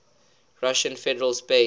russian federal space